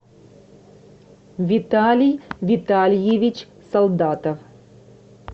виталий витальевич солдатов